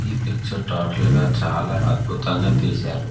ఈ picture total గా చాలా అద్భుతంగా తీశారు.